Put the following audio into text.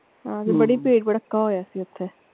ਹਾਂਜੀ ਬੜੀ ਭੀੜ ਭੜਕਾ ਹੋਇਆ ਸੀ ਓਥੇ।